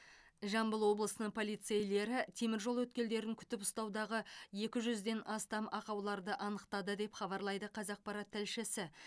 жамбыл облысының полицейлері теміржол өткелдерін күтіп ұстаудағы екі жүзден астам ақауларды анықтады деп хабарлайды қазақпарат тілшісі